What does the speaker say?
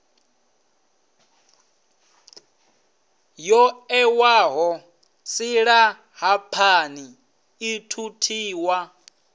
yo ṋewaho silahapani i thuthiwa